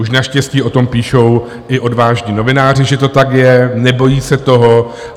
Už naštěstí o tom píšou i odvážní novináři, že to tak je, nebojí se toho.